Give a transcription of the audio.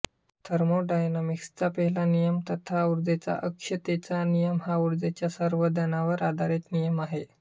थर्मोडायनामिक्सचा पहिला नियम तथा उर्जेच्या अक्षय्यतेचा नियम हा ऊर्जेच्या संवर्धनावर आधारित नियम आहे